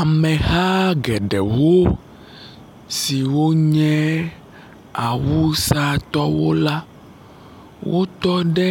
Ameha geɖewo siwo nye awusatɔwo la, wotɔ ɖe